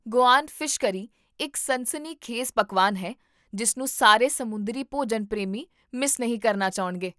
Goan fish curry ਇੱਕ ਸਨਸਨੀਖੇਜ਼ ਪਕਵਾਨ ਹੈ ਜਿਸਨੂੰ ਸਾਰੇ ਸਮੁੰਦਰੀ ਭੋਜਨ ਪ੍ਰੇਮੀ ਮਿਸ ਨਹੀਂ ਕਰਨਾ ਚਾਹੁਣਗੇ